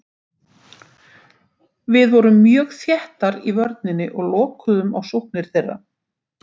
Við vorum mjög þéttar í vörninni og lokuðum á sóknir þeirra.